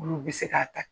Olu bɛ se k'a ta